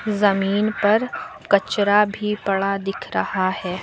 जमीन पर कचरा भी पड़ा दिख रहा है।